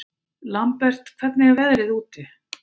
Lambert, hvernig er veðrið úti?